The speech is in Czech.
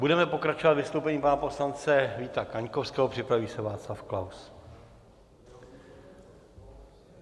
Budeme pokračovat vystoupením pana poslance Víta Kaňkovského, připraví se Václav Klaus.